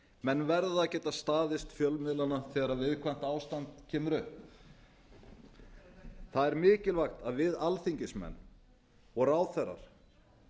menn verða að geta staðist fjölmiðlana þegar viðkvæmt ástand kemur upp það er mikilvægt að við alþingismenn og ráðherrar